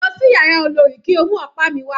Lọ sí yàrá olorì kí o mú ọ̀pá mi wà.